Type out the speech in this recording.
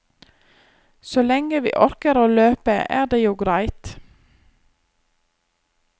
Så lenge vi orker å løpe, er det jo greit.